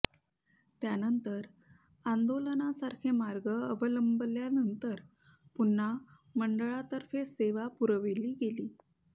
त्यानंतर आंदोलनासारखे मार्ग अवलंबल्यानंतर पुन्हा मंडळातर्फे सेवा पुरविली गेली